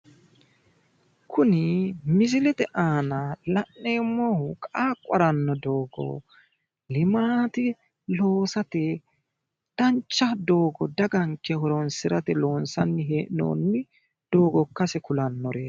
Kuni misilete aana la'neemmohu qaaqqu haranno doogo limaate loosate dancha doogo daganke horoonsirate loonsanni hee'noonni doogo ikkase kulannoreeti.